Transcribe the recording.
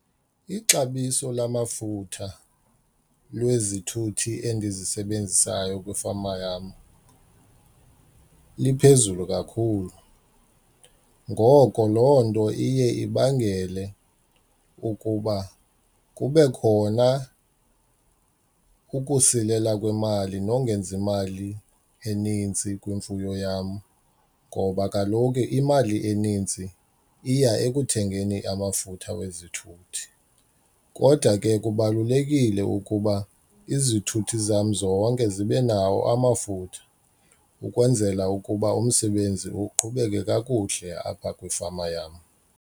Ixabiso lamafutha lwezithuthi endizisebenzisayo kwifama yam liphezulu kakhulu, ngoko loo nto iye ibangele ukuba kube khona ukusilela kwemali nongenzi imali eninzi kwimfuyo yam ngoba kaloku imali eninzi iya ekuthengeni amafutha wezithuthi. Kodwa ke kubalulekile ukuba izithuthi zam zonke zibe nawo amafutha ukwenzela ukuba umsebenzi uqhubeke kakuhle apha kwifama yam.